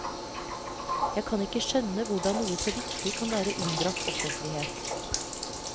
Jeg kan ikke skjønne hvordan noe så viktig kan være unndratt offentlighet.